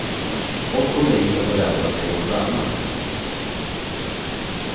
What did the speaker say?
Folk kommer hit och förväntar sig något annat.